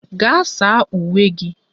Gaa saa uwe gị!